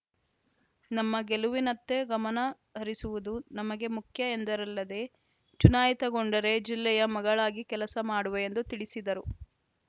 ನಮ್ಮ ಗೆಲುವಿನತ್ತ ಗಮನ ಹರಿಸುವುದು ನಮಗೆ ಮುಖ್ಯ ಎಂದರಲ್ಲದೆ ಚುನಾಯಿತಗೊಂಡರೆ ಜಿಲ್ಲೆಯ ಮಗಳಾಗಿ ಕೆಲಸ ಮಾಡುವೆ ಎಂದು ತಿಳಿಸಿದರು